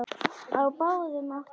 Á báðum áttum.